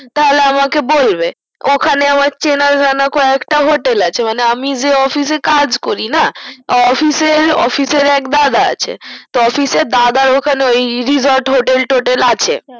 থালে আমাকে বলবে ওখানে আমার চেনাজানা কয়েকটা হোটেল আছে মানেই আমি যে অফিস এ কাজ করিনা অফিস আর অফিস এর এক দাদা আছে তো অফিস আর দাদার ওখানে resort হোটেল টোটেল আছে